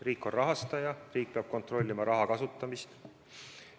Riik on rahastaja, riik peab kontrollima raha kasutamist.